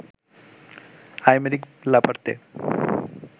Aymeric Laporte